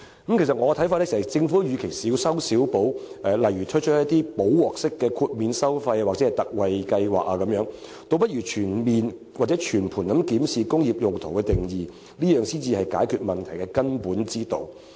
其實，依我看法，政府與其小修小補，推出"補鑊式"的豁免收費或特惠計劃，倒不如全面或全盤檢視"工業用途"一詞的定義，這才是解決問題的根本之道。